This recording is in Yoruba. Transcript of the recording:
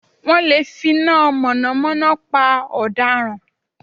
Wọ́n lè finá mọ̀nàmọ́ná pa ọ̀daràn